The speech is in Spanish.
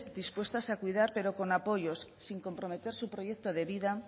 dispuestas a cuidar pero con apoyos sin comprometer su proyecto de vida